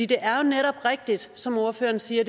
det er netop rigtigt som ordføreren siger